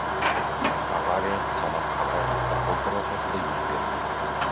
Avariya Chanoqqal’aIstanbul trassasida yuz bergan.